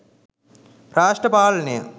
රාෂ්ට්‍ර පාලනය